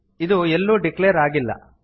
ಇದು ಎಲ್ಲೂ ಡಿಕ್ಲೇರ್ ಆಗಿಲ್ಲ